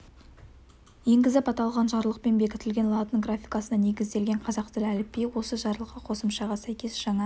енгізіп аталған жарлықпен бекітілген латын графикасына негізделген қазақ тілі әліпбиі осы жарлыққа қосымшаға сәйкес жаңа